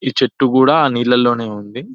ఈ చెట్టు కూడా నీళ్లలోనే ఉంది --